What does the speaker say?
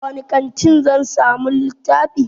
A wani kantin zan samu littafi?